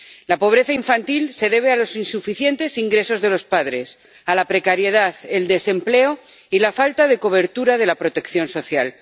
La pobreza infantil se debe a los insuficientes ingresos de los padres, a la precariedad, el desempleo y la falta de cobertura de la protección social.